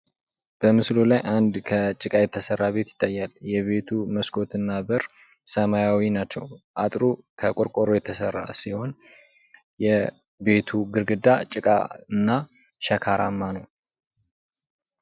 በምስሉ ላይ አንድ ከጭቃ የተሰራ ቤት ይታያል። ቤቱ መስኮት እና በር ሰማያዊ ናቸው። አጥሩ ከቆርቆሮ የተሰራ ሲሆን የቤቱ ግድግዳ ጭቃ እና ሸካራማ ነው።